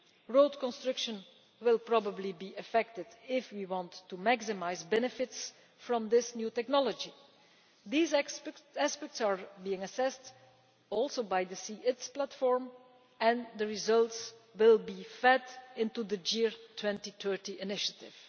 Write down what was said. Road construction will probably be affected if we want to maximise benefits from this new technology. These aspects are being assessed also in the C ITS Platform, and the results will be fed into the GEAR 2030 initiative.